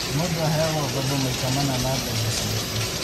Mũndũ aheagwo ngoombo maita mana ma mbeca ciake